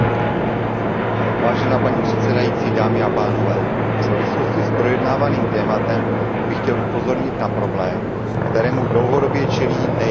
Paní předsedající, v souvislosti s projednávaným tématem bych chtěl upozornit na problém, kterému dlouhodobě čelí nejenom čeští vývozci.